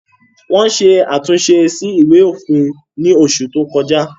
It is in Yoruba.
Wọ́n ṣe àtúnṣe sí Ìwé òfin ní oṣù tí o kọjá